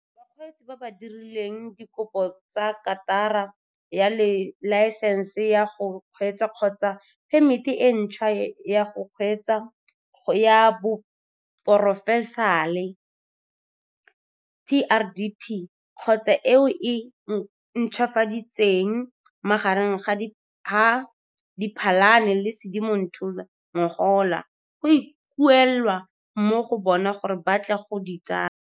Bakgweetsi ba ba dirileng dikopo tsa karata ya laensense ya go kgweetsa kgotsa phemiti e ntšhwa ya go kgweetsa ya porofešenale, PrDP, kgotsa e o e ntšhwafaditseng magareng ga Diphalane le Sedimonthole ngogola go ikuelwa mo go bona gore ba tle go di tsaya.